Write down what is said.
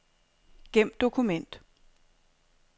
Gem dokument.